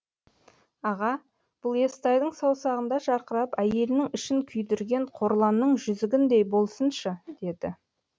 аға бұл естайдың саусағында жарқырап әйелінің ішін күйдірген қорланның жүзігіндей болсыншы деді